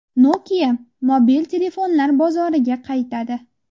Nokia mobil telefonlar bozoriga qaytadi.